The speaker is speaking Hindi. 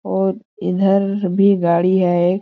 और इधर भी गाड़ी है एक--